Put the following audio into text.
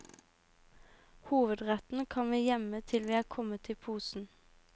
Hovedretten kan vi gjemme til vi er kommet i posen.